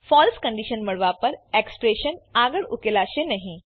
ફળસે condition મળવા પર expression આગળ ઉકેલાશે નહી